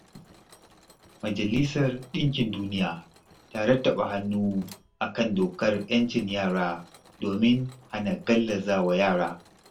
Majalisar Ɗinkin Duniya ta rattaba hannu a kan dokar 'yancin yara domin hana gallaza wa yara.